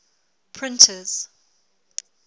printers